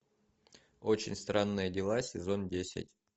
очень странные дела сезон десять